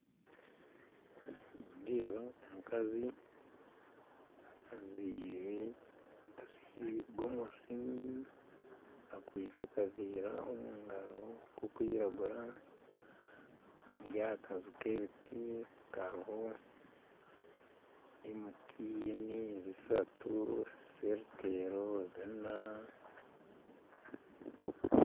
Nindeeba omukazi ajwire gomesi akwise akaveera omugaro nk'okwiragura ari aha kanju nk'ebiti kariho MTN 300, Celtel 400